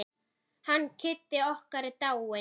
Hann Kiddi okkar er dáinn.